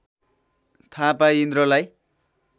थाहा पाई इन्द्रलाई